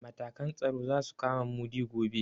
Matakan tsaro za su kama Mudi gobe.